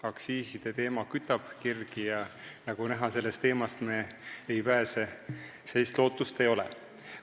Aktsiiside teema kütab tõesti kirgi ja nagu näha, sellist lootust ei ole, et me sellest teemast pääseme.